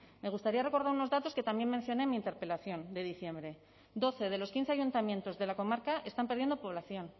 me gustaría recordar unos datos que también mencioné en mi interpelación de diciembre doce de los quince ayuntamientos de la comarca están perdiendo población